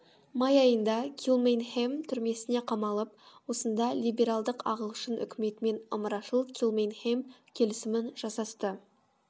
май айында килмейнхем түрмесіне қамалып осында либералдық ағылшын үкіметімен ымырашыл килмейнхем келісімін жасасты агр